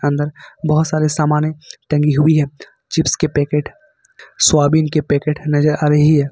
अंदर बहोत सारे सामाने टंगी हुई है चिप्स के पैकेट सोयाबीन के पैकेट नजर आ रही है।